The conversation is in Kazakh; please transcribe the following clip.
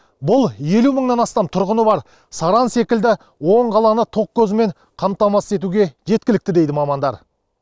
бұл елу мыңнан астам тұрғыны бар саран секілді он қаланы тоқ көзімен қамтамасыз етуге жеткілікті дейді мамандар